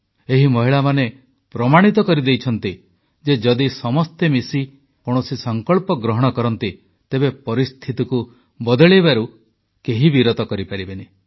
ଏହି ମହିଳାମାନେ ପ୍ରମାଣିତ କରିଦେଇଛନ୍ତି ଯେ ଯଦି ସମସ୍ତେ ମିଶି କୌଣସି ସଂକଳ୍ପ ଗ୍ରହଣ କରନ୍ତି ତେବେ ପରିସ୍ଥିତିକୁ ବଦଳାଇବାରୁ କେହି ବିରତ କରିପାରିବେନି